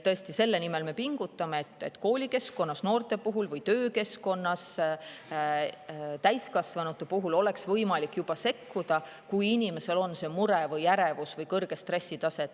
Selle nimel me pingutame, et noorte puhul juba koolikeskkonnas ja täiskasvanute puhul töökeskkonnas oleks võimalik sekkuda, kui inimesel on mure või ärevus või kõrge stressitase.